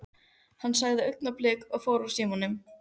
Hann sagði augnablik og fór úr símanum.